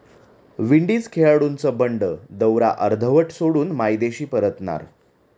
Windies खेळाडूंचं बंड, दौरा अर्धवट सोडून मायदेशी परतणार